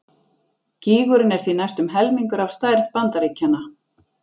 Gígurinn er því næstum helmingur af stærð Bandaríkjanna!